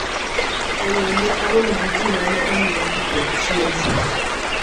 E yo ne aromo gi ji mane omiya pi kod chiemo.